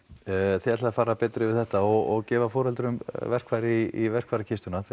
þið ætlið að fara betur yfir þetta og gefa foreldrum verkfæri í verkfærakistuna til